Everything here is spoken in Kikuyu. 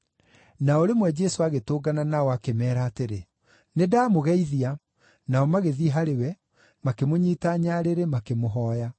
Na o rĩmwe Jesũ agĩtũngana nao, akĩmeera atĩrĩ, “Nĩndamũgeithia.” Nao magĩthiĩ harĩ we, makĩmũnyiita nyarĩrĩ, makĩmũhooya.